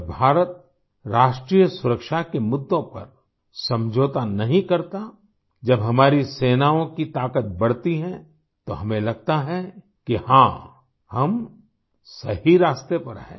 जब भारत राष्ट्रीय सुरक्षा के मुद्दों पर समझौता नहीं करता जब हमारी सेनाओं की ताकत बढ़ती हैं तो हमें लगता है कि हाँ हम सही रास्ते पर हैं